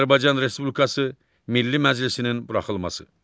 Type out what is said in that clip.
Azərbaycan Respublikası Milli Məclisinin buraxılması.